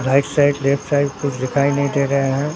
Right side left side कुछ दिखाई नहीं दे रहे हैं।